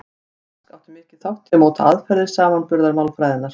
Rask átti mikinn þátt í að móta aðferðir samanburðarmálfræðinnar.